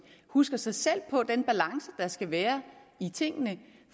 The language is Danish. husker sig selv på den balance der skal være i tingene